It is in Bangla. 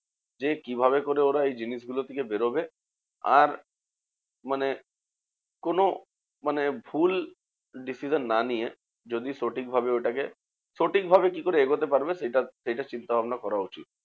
যে কিভাবে করে ওরা এই জিনিসগুলো থেকে বেরোবে? আর মানে কোনো মানে ভুল decision না নিয়ে, যদি সঠিক ভাবে ওটাকে সঠিক ভাবে কিকরে এগোতে পারবে সেটা সেটার চিন্তাভাবনা করা উচিত।